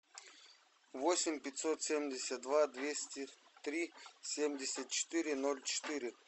восемь пятьсот семьдесят два двести три семьдесят четыре ноль четыре